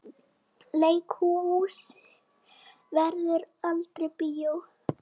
Leikhús verður aldrei bíó.